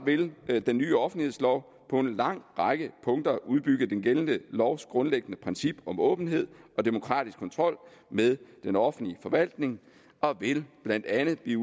vil den nye offentlighedslov på en lang række punkter udbygge den gældende lovs grundlæggende princip om åbenhed og demokratisk kontrol med den offentlige forvaltning og vil blandt andet blive